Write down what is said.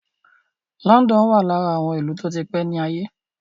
London wà lára àwọn ìlú tó ti pé ní àgbáyé.